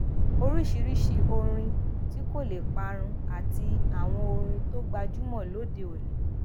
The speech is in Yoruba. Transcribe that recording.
oríṣiríṣi orin tí kò lè parun àti àwọn orin tó gbajúmò lóde òní